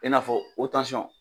I n'a fɔ